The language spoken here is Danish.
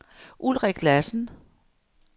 Ulrik Lassen